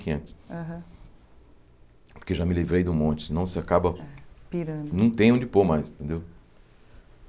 Quinhentos aham Porque já me livrei de um monte, senão você acaba Pirando... Não tem onde pôr mais, entendeu?